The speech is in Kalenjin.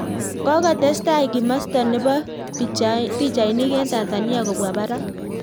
Kokotestai kimasta nebo pichainik eng Tanzania kobwa parak